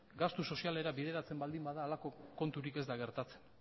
gastu sozialera bideratzen baldin bada horrelako konturik ez da gertatzen